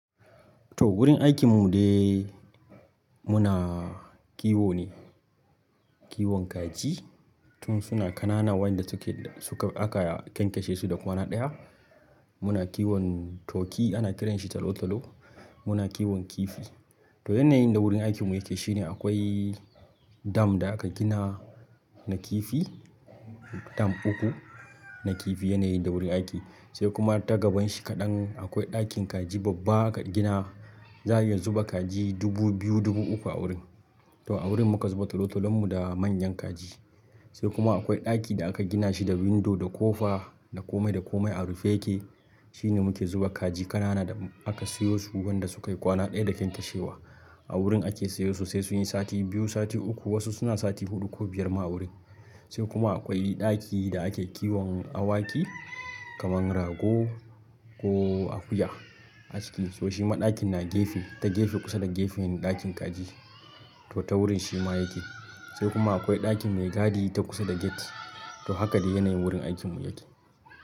To wurin aikin mu dai muna kiwo ne, kiwon kaji tun suna ƙanana wanda suke, suka, aka ƙyanƙyashe su da kwana ɗaya. Muna kiwon turkey ana kiran shi talo-talo. Muna kiwon kifi. To yanayin da wurin aikin mu yake shine akwai dam da aka gina na kifi, dam uku na kifi yanayin da wurin aiki sai kuma ta gaban shi kaɗan akwai ɗakin kaji babba aka gina za'a iya zuba kaji dubu biyu dubu uku a wurin. To a wurin muka zuba talo-talon mu da manyan kaji. Sai kuma akwai ɗaki da aka gina shi da window da ƙofa da komai da komai a rufe yake. Shine muke zuba kaji ƙanana da aka siyo su wanda sukayi kwana ɗaya da ƙyanƙyashe wa. A wurin ake siyo su sai sun yi sati biyu, sati uku wasu suna sati huɗu ko biyar ma a wurin. Sai kuma akwai ɗaki da ake kiwon awaki kaman rago ko akuya a cikin, to shi ma ɗakin na gefe, ta gefe kusa da gefen ɗakin kaji to ta wurin shi ma yake. Sai kuma akwai ɗakin mai gadi ta kusa da gate to haka dai yanayin wurin aikin mu yake.